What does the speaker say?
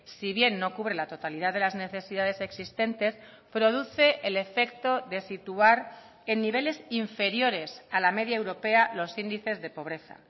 si bien no cubre la totalidad de las necesidades existentes produce el efecto de situar en niveles inferiores a la media europea los índices de pobreza